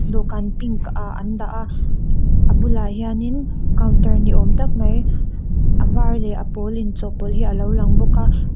dawhkan pink ah an dah a a bulah hianin counter ni awm tak mai a var leh a pawl inchawhpawlh hi alo lang bawk a--